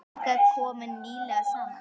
Þing kom nýlega saman.